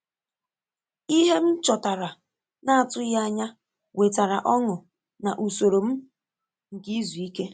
Ìhè m chọtara n’atụghị ànyà wetara ọṅụ ná usoro m nke izu ike.